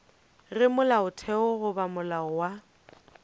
ge molaotheo goba molao wa